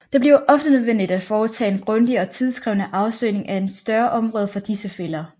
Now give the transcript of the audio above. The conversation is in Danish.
Det bliver ofte nødvendigt at foretage en grundig og tidskrævende afsøgning af et større område for disse fælder